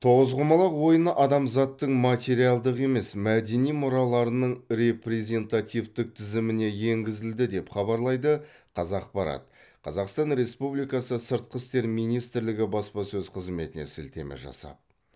тоғызқұмалақ ойыны адамзаттың материалдық емес мәдени мұраларының репрезентативтік тізіміне енгізілді деп хабарлайды қазақпарат қазақстан республикасы сыртқы істер министрлігі баспасөз қызметіне сілтеме жасап